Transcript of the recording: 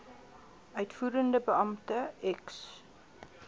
uitvoerende beampte ex